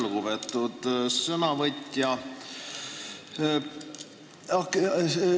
Lugupeetud sõnavõtja!